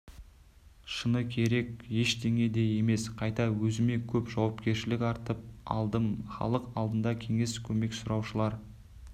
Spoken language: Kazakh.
шыны керек ештеңе де емес қайта өзіме көп жауапкершілікті артып алдым халық алдында кеңес көмек сұраушылар